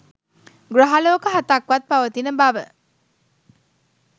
ග්‍රහලෝක හතක් වත් පවතින බව